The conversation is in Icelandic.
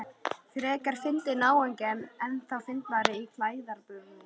Frekar fyndinn náungi en ennþá fyndnari í klæðaburði.